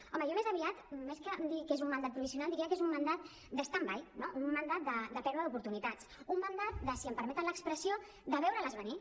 home jo més aviat més que dir que és un mandat provisional diria que és un mandat de stand by no un mandat de pèrdua d’oportunitats un mandat si em permeten l’expressió de veure les venir